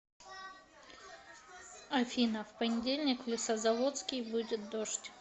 афина в понедельник в лесозаводский будет дождь